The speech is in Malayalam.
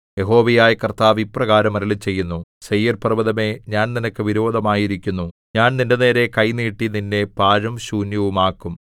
യഹോവയായ കർത്താവ് ഇപ്രകാരം അരുളിച്ചെയ്യുന്നു സെയീർപർവ്വതമേ ഞാൻ നിനക്ക് വിരോധമായിരിക്കുന്നു ഞാൻ നിന്റെനേരെ കൈ നീട്ടി നിന്നെ പാഴും ശൂന്യവുമാക്കും